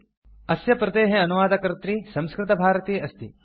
httpspoken tutorialorgNMEICT intro अस्य प्रतेः अनुवादकर्त्री संस्कृतभारती अस्ति